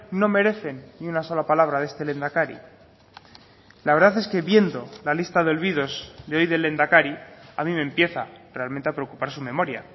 no merecen ni una sola palabra de este lehendakari la verdad es que viendo la lista de olvidos de hoy del lehendakari a mí me empieza realmente a preocupar su memoria